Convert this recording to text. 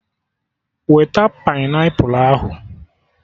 Weta painiapụlụ ahụ!